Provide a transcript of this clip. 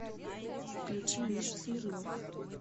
включи миша смирнов